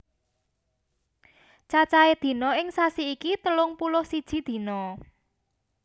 Cacahe dina ing sasi iki telung puluh siji dina